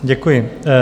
Děkuji.